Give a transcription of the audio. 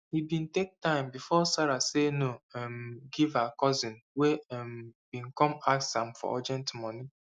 e bin take time before sarah say no um give her cousin wey um bin come ask am for urgent moni